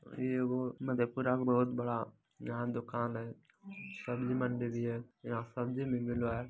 ये एगो मधेपुरा में बहुत बड़ा यहाँ दुकान है सब्जी मंडी भी है यहाँ सब्जी भी मिल रहा है।